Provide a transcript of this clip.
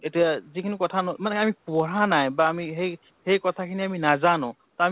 এতিয়া যি খিনি কথা মানে আমি পঢ়া নাই বা আমি সেই সেই কথা খিনি আমি নাজানো ত